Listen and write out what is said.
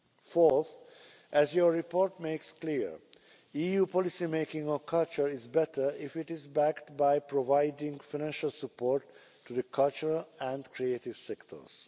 Fourth, as your report makes clear, EU policymaking on culture is better if it is backed by providing financial support to the cultural and creative sectors.